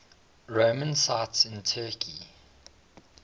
roman sites in turkey